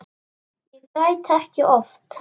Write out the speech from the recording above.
Ég græt ekki oft.